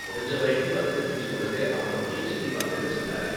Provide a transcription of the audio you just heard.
முடிஞ்ச வரைக்கும் வசதி செஞ்சு கொடுக்க அவங்க முயற்சி செய்வாங்கன்னு சொன்னாரு.